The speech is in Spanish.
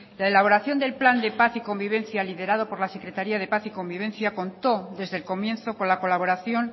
la elaboración del plan de paz y convivencia liderado por la secretaría de paz y convivencia contó desde el comienzo con la colaboración